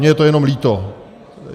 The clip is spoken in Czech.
Mně je to jenom líto.